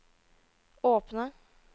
åpne